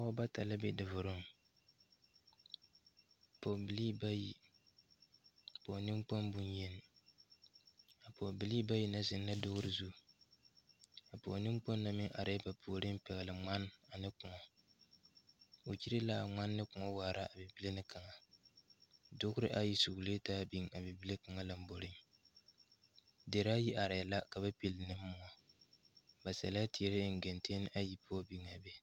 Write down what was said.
Pɔɔbɔ bata la be davoroŋ pɔɔbilii bayi pɔɔ neŋkpoŋ bonyeni a pɔɔbilii bayi na zeŋ la dugre zu a pɔɔ neŋkpoŋ na meŋ arɛɛ ba puoriŋ pɛgrɛ ngmane ane kõɔ o kyire la a ngmane ne kõɔ waara a bibile na kaŋa dugre ayi suglee ta biŋ a bibile kaŋ lomboreŋ deraayi arɛɛ la ka ba pile ne moɔ ba sɛlɛɛ teere eŋ geŋtenne ayi zu biŋaa be.